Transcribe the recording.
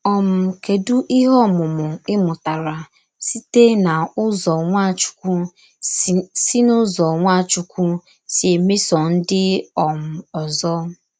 um Kèdù íhè ọ̀mụ́mụ̀ í mụtara sīte n’ụ́zọ̀ Nwàchùkwù sī n’ụ́zọ̀ Nwàchùkwù sī èmèsò ndí um òzò?